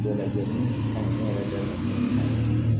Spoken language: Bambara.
Bɛɛ lajɛlen ka jama